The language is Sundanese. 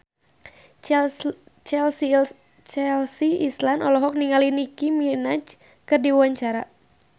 Chelsea Islan olohok ningali Nicky Minaj keur diwawancara